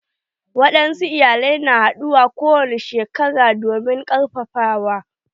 Wadansu iyalai na haduwa kowani shekara domin karfafawa.